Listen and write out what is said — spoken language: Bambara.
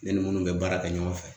Ne ni minnu bɛ baara kɛ ɲɔgɔn fɛ.